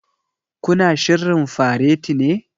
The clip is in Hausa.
Ku na shirrin fareti ne?